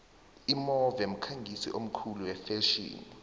imove mkhangisi omkhulu wefetjheni